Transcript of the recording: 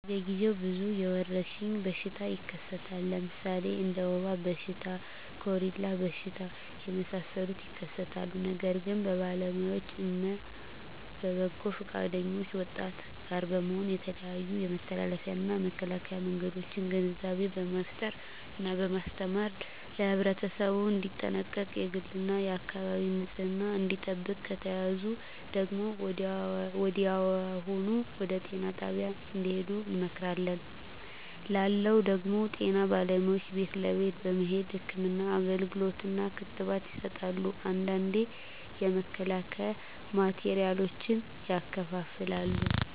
በየ ግዜው ብዙ የወረሽኝ በሽታ ይከሰታል ለምሣሌ እንደ ወባ በሽታ ኮሪላ በሽታ የመሣሠሉት ይከሠታሉ ነገር ግን በባለውያዎች እነ በበጎ ፈቃደኞች ወጣቶች ጋር በመሆን የተለያዮ የመተላለፊያ እና የመከላኪያ መንገዶችን ግንዛቤ በመፍጠር እና በማስተማር ለህብረተሠቡ እንዲጠነቀቅ የግል እና የአካባቢውን ንፅህና እንዲጠብቅ ከተያዙ ደግሞ ወዲያሁኑ ወደጤና ጣቢያ እንድሄዱ እንመክራለን ላለው ደግም ጤና ባለሙያዎች ቤት ለቤት በመሄድ ህክምና አገልግሎት እና ክትባት ይሠጣሉ አንዳንዴ የመከላከያ ማቴሪያሎችን ያከፋፍላሉ